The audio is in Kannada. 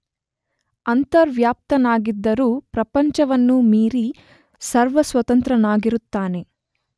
ಅಂತರ್ವ್ಯಾಪ್ತನಾಗಿದ್ದರೂ ಪ್ರಪಂಚವನ್ನು ಮೀರಿ ಸರ್ವಸ್ವತಂತ್ರನಾಗಿರುತ್ತಾನೆ.